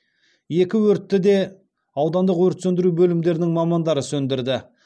екі өртті де аудандық өрт сөндіру бөлімдерінің мамандары сөндірді